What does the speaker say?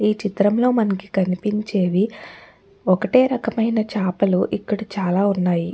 ఈ చిత్రంలో కనుక కనిపించేవి ఒకటే రకమైన చేపలు చాలా ఉన్నాయి.